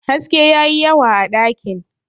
haske ya yi yawa a dakin